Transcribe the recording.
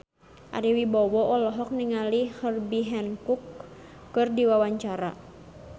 Ari Wibowo olohok ningali Herbie Hancock keur diwawancara